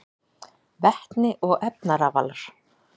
Vetni og efnarafalar: